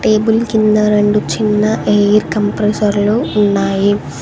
Table కింద రెండు చిన్న ఎయిర్ కంప్రెసర్ లు ఉన్నాయి.